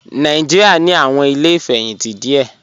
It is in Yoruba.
Nàìjíríà ní àwọn ilé ìfẹ̀yìntì díẹ̀